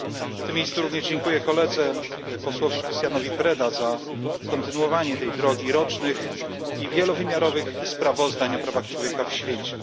W tym miejscu również dziękuję koledze posłowi Cristianowi Dan Predzie za kontynuowanie tej drogi rocznych i wielowymiarowych sprawozdań o prawach człowieka w świecie.